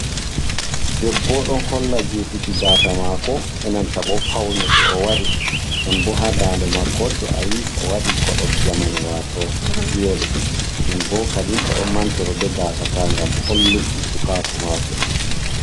Debbo ɗo holla jutuki gasa mako, enanta bo paune de o waɗi non bo ha daɗe mako to ayi o wadi kodol jaman wato juweri, non bo kadi o ɗo mantoro be gasaka gam holluki sukaku mako.